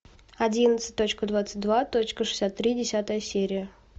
одиннадцать точка двадцать два точка шестьдесят три десятая серия